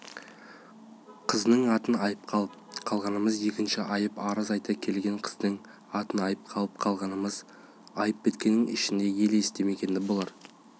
қызының атын айыпқа алып қалғанымыз екінші айып арыз айта келген қыздың атын айыпқа алып қалғанымыз айып біткеннің ішінде ел естімегені болар